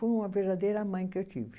Foi uma verdadeira mãe que eu tive.